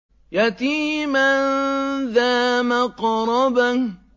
يَتِيمًا ذَا مَقْرَبَةٍ